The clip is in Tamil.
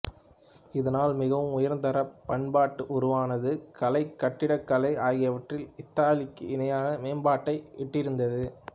இதனால் மிகவும் உயர்தர பண்பாடு உருவானது கலை கட்டிடக்கலை ஆகியவற்றில் இத்தாலிக்கு இணையான மேம்பாட்டை எட்டியிருந்தது